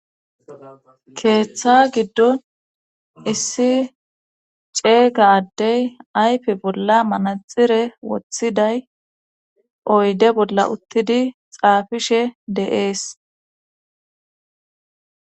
keeththa giddon issi ceega addey ayfe bolla manaxire woththiday oyde bolla uttidi xaafishe deees